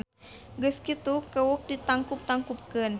Geus kitu kewuk ditangkub-tangkubkeun.